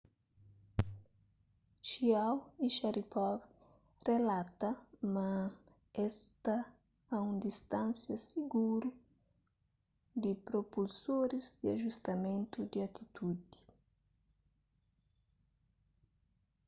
chiao y sharipov relata ma es sta a un distánsia siguru di propulsoris di ajustamentu di atitudi